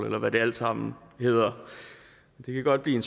eller hvad de alle sammen hedder det kan godt blive